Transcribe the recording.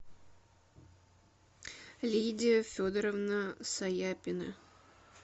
лидия федоровна саяпина